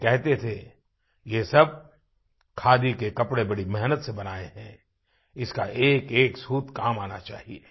वे कहते थे ये सब खादी के कपड़े बड़ी मेहनत से बनाये हैं इसका एकएक सूत काम आना चाहिए